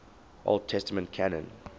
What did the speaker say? old testament canon